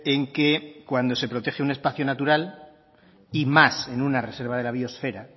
en que cuando se protege un espacio natural y más en una reserva de la biosfera